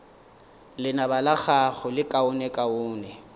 lenaba la gago le lekaonekaone